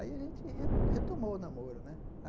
Aí a gente re retomou o namoro né.